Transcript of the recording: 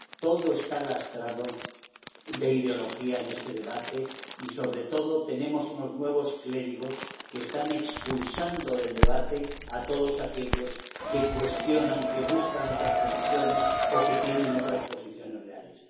Todo está lastrado de ideología en este debate y sobre todo tenemos unos nuevos clérigos que están expulsando del debate a todos aquellos que cuestionan, que buscan otras posiciones o que tienen otras posiciones reales.